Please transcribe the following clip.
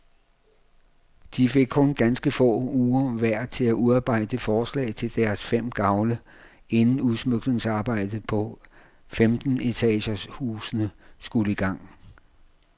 De fik kun ganske få uger hver til at udarbejde forslag til deres fem gavle, inden udsmykningsarbejdet på femten etagers husene skulle i gang.